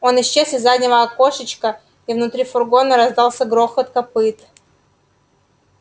он исчез из заднего окошечка и внутри фургона раздался грохот копыт